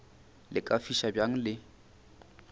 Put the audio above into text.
le ka fiša bjang le